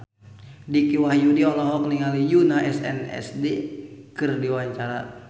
Dicky Wahyudi olohok ningali Yoona SNSD keur diwawancara